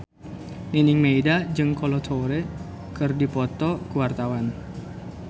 Nining Meida jeung Kolo Taure keur dipoto ku wartawan